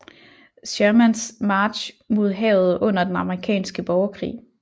Shermans march mod havet under den amerikanske borgerkrig